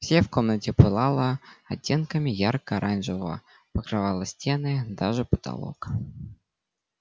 все в комнате пылало оттенками ярко-оранжевого покрывало стены даже потолок